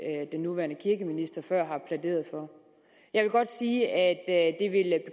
den nuværende kirkeminister før har plæderet for jeg vil godt sige at